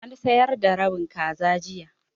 An sayar da rabin kaza jiya.